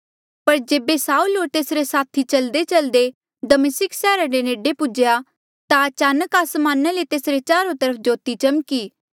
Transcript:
पर जेबे साऊल होर तेसरे साथी चल्देचल्दे दमिस्का सैहरा रे नेडे पुज्हेया ता अचानक आसमाना ले तेसरे चारो तरफ ज्योति चमकी